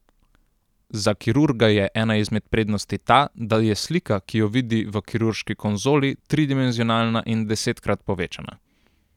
Za kirurga je ena izmed prednosti ta, da je slika, ki jo vidi v kirurški konzoli, tridimenzionalna in desetkrat povečana.